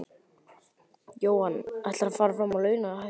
Jóhann: Ætlarðu að fara fram á launalækkun?